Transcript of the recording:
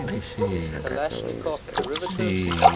kalashnikov derivatives